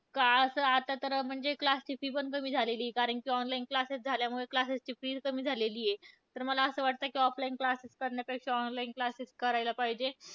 का असं आता तर म्हणजे classes ची fee पण कमी झालेली आहे. कारण की online classes झाल्यामुळे, classes ची fees कमी झालेलीय. तर मला असं वाटतं की offline classes करण्यापेक्षा online classes करायला पाहिजे.